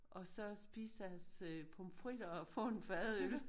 Og så spise deres pomfritter og få en fadøl